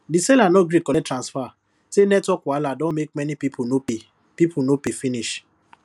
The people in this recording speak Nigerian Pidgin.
the seller no gree collect transfer say network wahala don make many people no pay people no pay finish